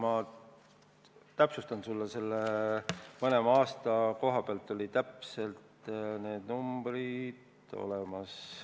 Ma täpsustan selle üle, mõlema aasta kohta olid täpsed numbrid olemas.